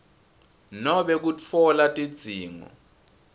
nobe kutfola tidzingo